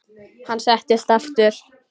Hann settist aftur.